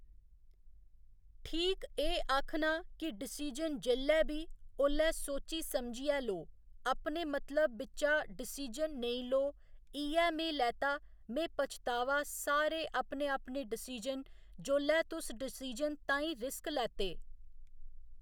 ठीक एह् आक्खना की डिसीजन जेल्लै बी ओल्लै सोची समझियै लो अपने मतलब बिच्चा डिसीजन नेईं लो इ'यै में लैता में पच्छतावा सारे अपने अपने डिसीजन जोल्लै तुस डिसीजन ताईं रिस्क लैते